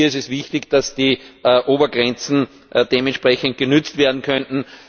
Hier ist es wichtig, dass die Obergrenzen dementsprechend genutzt werden können.